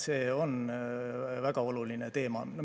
See on väga oluline teema.